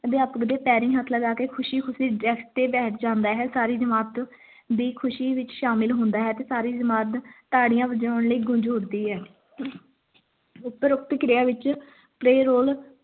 ਅਧਿਆਪਕ ਦੇ ਪੈਰੀਂ ਹੱਥ ਲਗਾ ਕੇ ਖੁਸ਼ੀ-ਖੁਸ਼ੀ desk ਤੇ ਬੈਠ ਜਾਂਦਾ ਹੈ ਸਾਰੀ ਜਮਾਤ ਦੀ ਖੁਸ਼ੀ ਵਿਚ ਸ਼ਾਮਿਲ ਹੁੰਦਾ ਹੈ ਤੇ ਸਾਰੀ ਜਮਾਤ ਤਾੜੀਆਂ ਵਜਾਉਣ ਲਈ ਗੂੰਜ ਉਠਦੀ ਹੈ ਉਪਰੋਕਤ ਕ੍ਰਿਆ ਵਿਚ play role